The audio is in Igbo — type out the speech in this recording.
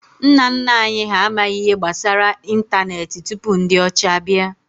Nna nna anyi ha amaghi ihe gbasara ịntanetị tupu ndi ocha bia